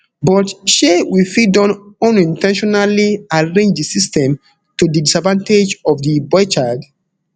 but shey we fit don unin ten tionally arrange di system to di disadvantage of di boy child